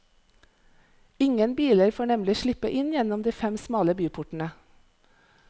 Ingen biler får nemlig slippe inn gjennom de fem smale byportene.